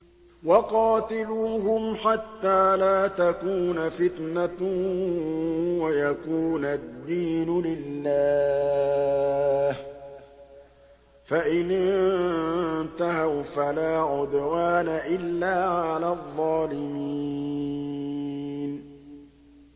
وَقَاتِلُوهُمْ حَتَّىٰ لَا تَكُونَ فِتْنَةٌ وَيَكُونَ الدِّينُ لِلَّهِ ۖ فَإِنِ انتَهَوْا فَلَا عُدْوَانَ إِلَّا عَلَى الظَّالِمِينَ